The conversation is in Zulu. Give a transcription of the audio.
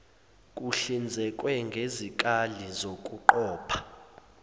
kuhlinzekwe ngezikali zokuqopha